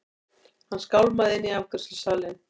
Hann skálmaði inn í afgreiðslusalinn.